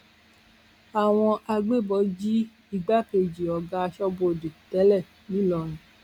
àwọn agbébọn jí igbákejì ọgá aṣọbodè tẹlẹ ńlọrọrìn